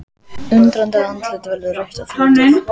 Undrandi andlitið verður rautt og þrútið.